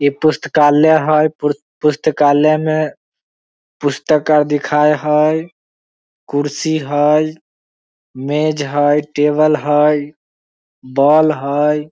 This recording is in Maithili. इ पुस्तकालय हए पुरु पुस्तकालय में पस्तक आदि दिखाए हए कुर्सी हए मेज़ हए टेबल हए बोलब हई।